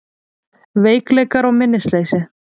Veikleikar og minnisleysi